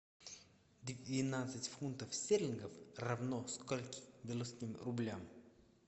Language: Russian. двенадцать фунтов стерлингов равно скольки белорусским рублям